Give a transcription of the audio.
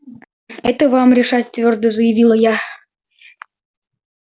это вам решать твёрдо заявила я